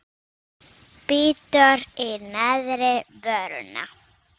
Bítur í neðri vörina.